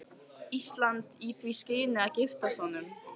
Íslands í því skyni að giftast honum.